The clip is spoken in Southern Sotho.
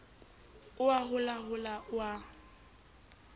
o a holahola o a